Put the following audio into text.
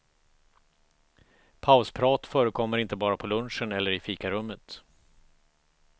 Pausprat förekommer inte bara på lunchen eller i fikarummet.